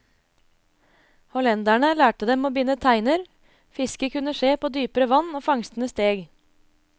Hollenderne lærte dem å binde teiner, fisket kunne skje på dypere vann og fangstene steg.